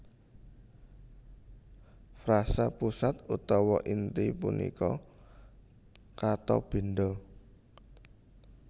Frasa pusat utawa inti punika kata benda